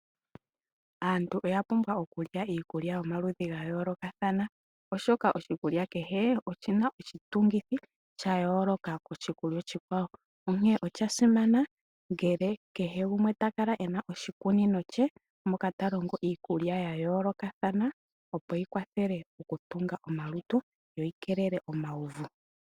Aantu oya pumbwa okulya iikulya yomaludhi ga yoolokathana oshoka, oshikulya kehe, oshina oshitungithi shayooloka koshikulya oshikwawo. Onke oshasimana ngele kehe gumwe takala ena oshikunino she moka talongo iikulya ya yoolokathana opo yikwathele okutunga omalutu yo yikelele omawuvu.